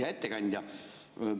Hea ettekandja!